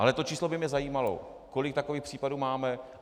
Ale to číslo by mě zajímalo, kolik takových případů máme.